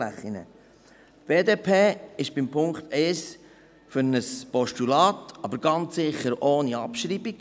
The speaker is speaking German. Die BDP ist bei Punkt 1 für ein Postulat, aber ganz sicher ohne Abschreibung.